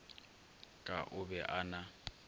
ka o be a na